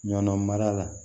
Ɲɔ mara la